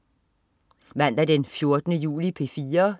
Mandag den 14. juli - P4: